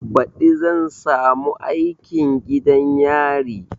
Baɗi zan samu aikin gidan yari